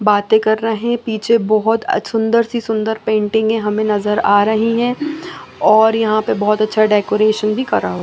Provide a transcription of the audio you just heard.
बातें कर रहे पीछे बहोत अ सुंदर सी सुंदर पेंटिंगे हमें नजर आ रही हैं और यहां पे बहोत अच्छा डेकोरेशन भी करा--